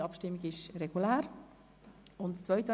sie ist regulär verlaufen.